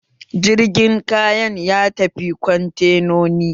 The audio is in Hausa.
Jirgin kayan ya tafi kwantenonin